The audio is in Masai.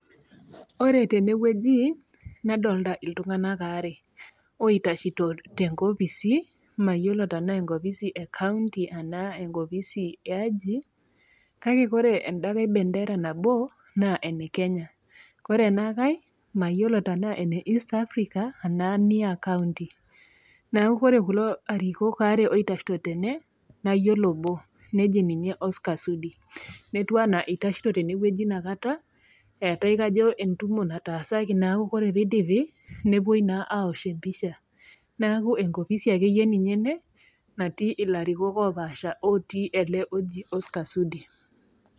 Ore tenewueji nadolita iltung'ana wuare oitashito tenkofisi, mayiolo tenaa enkofisi e county anaa enkofisi eaji kake ore endakai bendera nabo naa ene Kenya, ore ena kai mayiolo tenaa ene East Afrika anaa enia county neaku ore kulo arikok oitashito tene nayiolo obo, neji ninye Oscar Sudi. Netiu anaa eitashito tenewueji nakata eatai kajo nakata entumo nataasaki neaku ore peidipi newuoi naa aos empisha neaku enkofisi akeyie ninye ene natii ilarikok opaasha lotii ele oji Oscar Sudi.